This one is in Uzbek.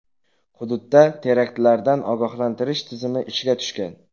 Hududda teraktlardan ogohlantirish tizimi ishga tushgan.